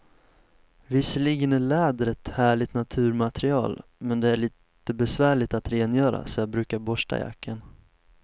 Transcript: Visserligen är läder ett härligt naturmaterial, men det är lite besvärligt att rengöra, så jag brukar borsta jackan.